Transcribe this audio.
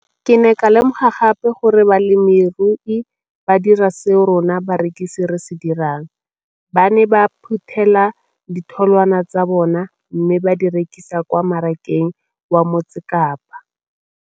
Ke ne ka lemoga gape gore balemirui ba dira seo rona barekisi re se dirang - ba ne ba phuthela ditholwana tsa bona mme ba di rekisa kwa marakeng wa Motsekapa.